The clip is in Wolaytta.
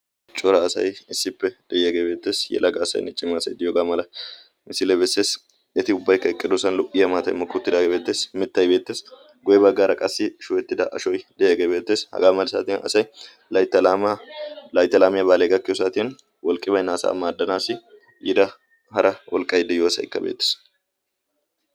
Cora asai issippe de'iyaagee beettees yalaga asainn cima asai diyoogaa mala misiilee bessees. eti ubbaikka eqqedoosan lo"iyaa maatay mokkuuttidaagee beettees mittayi beettees goe baggaara qassi shuhettida ashoi de'iyaagee beettees. hagaa mali saatiyan asay laayta laamiyaa baalee gakkiyo saatiyan wolqqibaynaasaa maaddanaassi yida hara wolqqay de'iyoosaykka beettees.